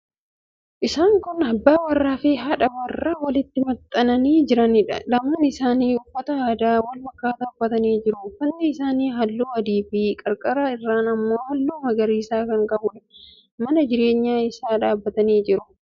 Isaan kun abbaa warraafi haadha warraa walitti maxxananii jiraniidha. Lamaan isaanii uffata aadaa wal fakkaataa ummatanii jiru. Uffatni isaanii halluu adiifi qarqara irraan immoo halluu magariisa kan qabuudha. Mana jireenyaa keessa dhaabbatanii jiru.